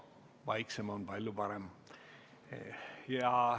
Vaiksem on palju parem.